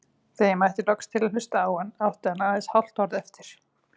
Þegar ég mætti loks til að hlusta átti hann aðeins hálft orð eftir.